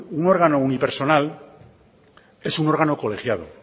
un órgano unipersonal es un órgano colegiado